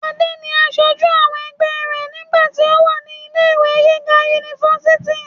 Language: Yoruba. adé ni asojú àwọn ẹgbẹ́ rẹ̀ nígbà tí ó wà ní ilé ìwé gíga unifásitì